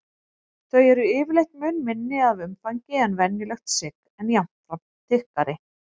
Þau eru yfirleitt mun minni að umfangi en venjulegt sigg en jafnframt þykkari.